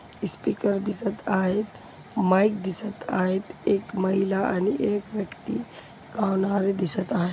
Speaker दिसत आहेत. Mike दिसत आहेत एक माहीला आणि एक व्यक्ति गाणारे दिसत आहे.